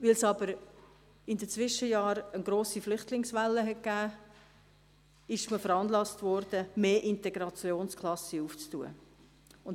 Weil es in den Zwischenjahren aber eine grosse Flüchtlingswelle gab, wurde man veranlasst, mehr Integrationsklassen zu eröffnen.